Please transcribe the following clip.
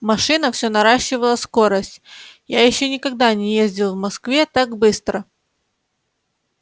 машина все наращивала скорость я ещё никогда не ездил в москве так быстро